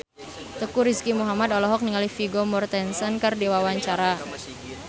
Teuku Rizky Muhammad olohok ningali Vigo Mortensen keur diwawancara